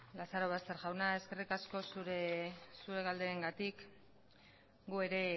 lazarobaster jauna eskerrik asko zuen galderengatik gu ere